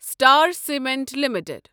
star cement limited